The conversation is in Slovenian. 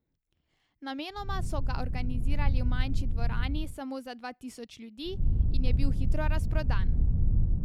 Namenoma so ga organizirali v manjši dvorani samo za dva tisoč ljudi in je bil hitro razprodan.